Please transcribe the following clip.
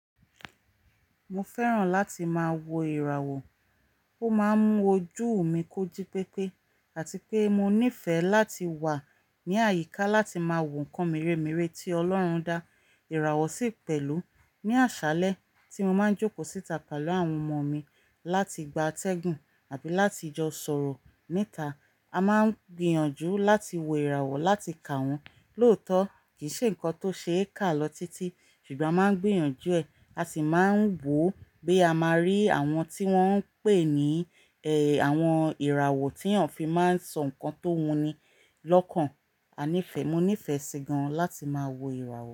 Mo fẹ́ràn láti máa wo ìràwọ̀, ó máa ń mú ojú mi kójí pépé àti pé mo nífẹ̀ẹ́ láti wà ní àyíká láti máa wò ǹkan meremeré tí Ọlọ́run dá. Ìràwọ̀ sì pẹ̀lú ní àṣálẹ́ tí mo máa ń jókòó síta pẹ̀lú àwọn ọmọ mi láti gba atẹ́gùn àbí láti jọ sọ̀rọ̀ níta. A máa ń gbìyànjú láti wo ìràwọ̀ láti kà wọ́n, lóòótọ́ kì í ṣe ǹkan tó ṣe é kà lọ títí, ṣùgbọ́n a máa ń gbìyànjú ẹ̀, a sì máa ń wò bí a máa rí àwọn tí wọ́n ń pè ní ẹ, àwọn ìràwọ̀ tí àǹfi máa ń sọ ǹkan tó wuni lọ́kàn. A nífẹ̀ẹ́, mo nífẹ̀ẹ́ sí gan láti máa wo ìràwọ̀